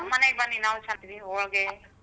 ನಮ್ಮನೆಗೆ ಬನ್ನಿ ನಾವೂ ಸಹಾ ಹಾಕ್ತೀವಿ ಹೋಳ್ಗೆ.